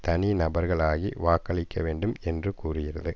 தனி நபர்கள் ஆகி வாக்களிக்க வேண்டும் என்று கூறுகிறது